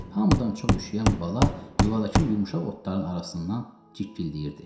Hamıdan çox üşüyən bala yuvadakı yumşaq otların arasından cikkildəyirdi.